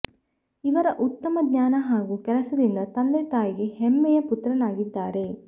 ಇವರ ಉತ್ತಮ ಜ್ಞಾನ ಹಾಗೂ ಕೆಲಸದಿಂದ ತಂದೆ ತಾಯಿಗೆ ಹೆಮ್ಮೆಯ ಪುತ್ರನಾಗಿದ್ದಾರೆ